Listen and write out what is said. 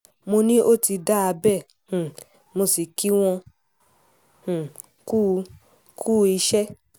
mo ní ó ti dáa bẹ́ẹ̀ um mo sì kí wọ́n um kùú kùú iṣẹ́